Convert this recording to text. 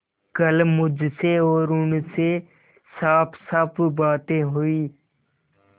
कल मुझसे और उनसे साफसाफ बातें हुई